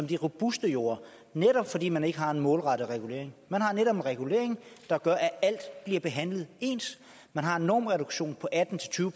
de robuste jorder netop fordi man ikke har en målrettet regulering man har netop en regulering der gør at alt bliver behandlet ens man har en normreduktion på atten til tyve